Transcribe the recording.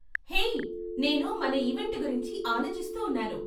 హే, నేను మన ఈవెంట్ గురించి ఆలోచిస్తూ ఉన్నాను.